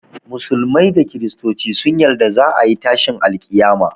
Musulmai da kristoci sun yarda za a yi tashin alƙiyama